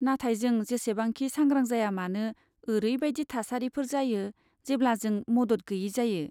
नाथाय जों जेसेबांखि सांग्रां जाया मानो, ओरैबायदि थासारिफोर जायो जेब्ला जों मदद गैयै जायो।